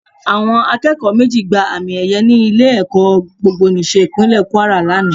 Àwọn akẹ́kọ̀ọ́ méjì gba àmì ẹyẹ ní ilé-ẹ̀kọ́ Gbogbonìṣe Ìpínlẹ̀ kúárà lánàá